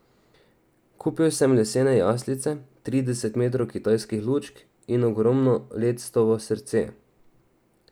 Kupil sem lesene jaslice, trideset metrov kitajskih lučk in ogromno lectovo srce.